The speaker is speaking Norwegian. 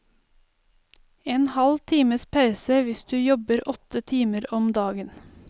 En halv times pause hvis du jobber åtte timer om dagen.